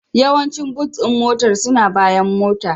Yawancin Boot ɗin mota suna bayan Motar